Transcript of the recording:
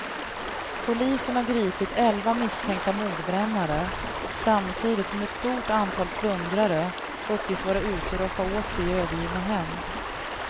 Polisen har gripit elva misstänkta mordbrännare samtidigt som ett stort antal plundrare uppges vara ute och roffa åt sig i övergivna hem.